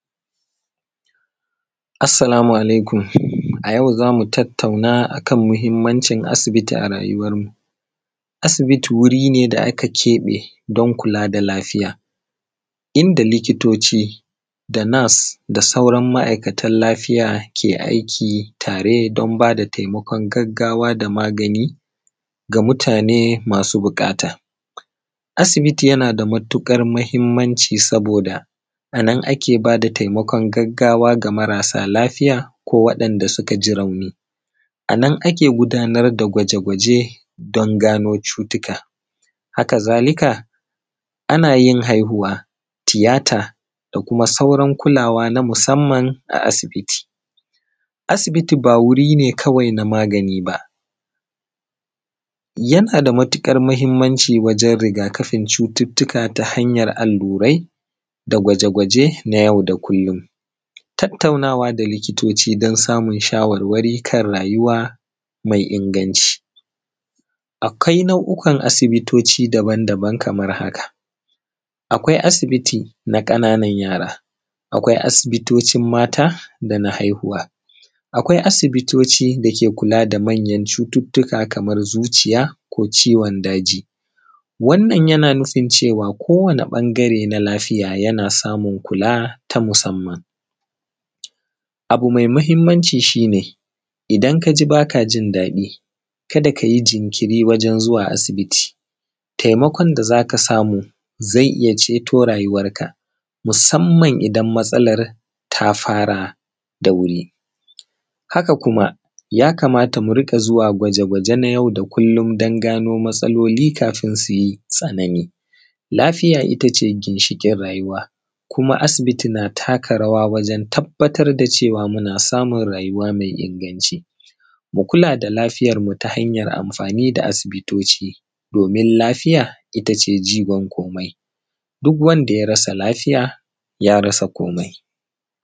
Assalamu alaikum. A yau zamu tattauna a kan muhimmancin asibiti a rayuwanmu. Asibiti wuri ne da aka keɓe don kula da lafiya, inda likitoci da nas da sauran ma’aikatan lafiya ke aiki tare don bada taimakon gaggawa da magani ga mutane masu buƙata. Asibiti yana da matuƙar muhimmanci saboda a nan ake bada taimakon gaggawa ga marasa lafiya ko wa’enda su ka ji rauni. A nan ake gudnar da gwaje-gwaje don gano cutuka. Haka zalika, ana yin haihuwa, tiyata, da kuma sauran kulawa na musamman a asibiti. Asibiti ba wuri ne kawai na magani ba, yana da matuƙar muhimmanchi wajen rigakafin cututtuka ta hanyar allurai da gwaje-gwaje na yau da kullum. Tattaunawa da likitoci don samun shawarwari kan rayuwa mai inganta yana da muhimmanci. Akwai na’u’kan asibitoci kaman haka: akwai asibiti na ƙananan yara, akwai asibitocin mata da na haihuwa, akwai asibitoci da ke kula da manyan cututtuka kaman zuciya ko ciwon daji. Wannan yana nufin cewa ko wani ɓangare na lafiya yana samun kula ta musamman. Abu mai muhimmanci shi ne, idan ka ji baka jin daɗi, kada ka yi jinkiri wajen zuwa asibiti. Taimakon da za ka samu zai iya ceto rayuwanka, musamman idan matsalar ta fara da wuri. Haka kuma ya kamata mu riƙa zuwa gwaje-gwaje na yau da kullum, don gano matsaloli kafin su yi tsanani. Lafiya ita ce ginshiƙin rayuwa, kuma asibiti na taka rawa wajen tabattar da cewa muna samun rayuwa mai inganci. Mu kula da lafiyar mu ta hanyar amfani da asibitoci, domin lafiya ita ce jigon komai; duk wanda ya rasa lafiya, ya rasa komai.